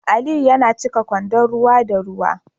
Aliyu yana cika kwandon ruwa da ruwa